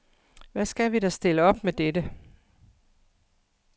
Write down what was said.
Hvad skal vi da stille op med dette?